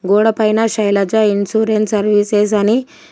గోడ పైన Shailaja insurance services అని--